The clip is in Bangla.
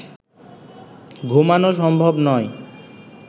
ঘুমানো সম্ভব নয়